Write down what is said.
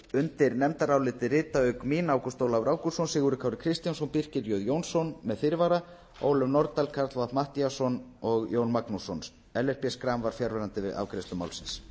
undir nefndarálitið rita auk mín ágúst ólafur ágústsson sigurður kári kristjánsson birkir j jónsson með fyrirvara ólöf nordal karl fimmti matthíasson og jón magnússon ellert b schram var fjarverandi við afgreiðslu málsins